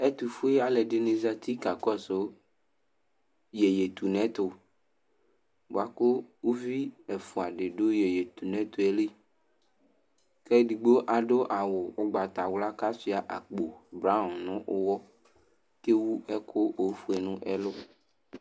Ɛtʋfue alʋɛdɩnɩ zati kakɔsʋ iyeye tu nʋ ɛtʋ bʋa kʋ uvi ɛfʋa dɩ dʋ iyeye tu nʋ ɛtʋ yɛ li kʋ edigbo adʋ awʋ ʋgbatawla kʋ asʋɩa akpo braɔn nʋ ʋɣɔ kʋ ewu ɛkʋ ofue nʋ ɛlʋ